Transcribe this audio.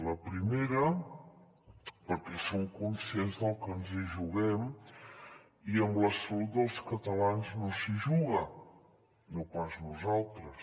la primera perquè som conscients del que ens hi juguem i amb la salut dels catalans no s’hi juga no pas nosaltres